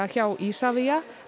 hjá Isavia